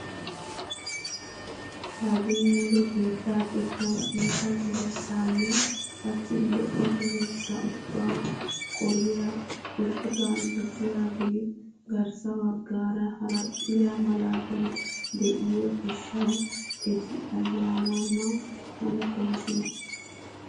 Hagee mule biittaa xekkan iita zigirssaanne qassi lo"o zigirssaa ubbaa qoriyaa eqotaa gididagee garssa baggaara haraphiyaa malatay de'iyo giishshawu eti ayyaanama malattoosona.